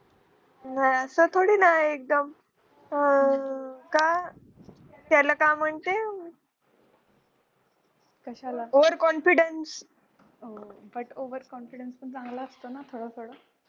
अस थोडी ना एकदम अं का त्याला तर overcondifance